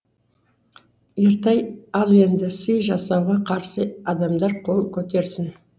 ертай ал енді сый жасауға қарсы адамдар қол көтерсін